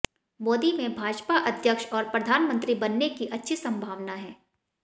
मोदी में भाजपा अध्यक्ष और प्रधानमंत्री बनने की अच्छी संभावना है